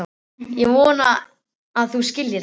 Ég vona að þú skiljir það.